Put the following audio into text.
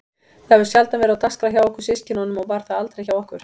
Það hefur sjaldan verið á dagskrá hjá okkur systkinunum og var það aldrei hjá okkur